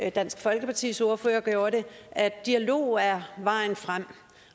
og dansk folkepartis ordfører gjorde det at dialog er vejen frem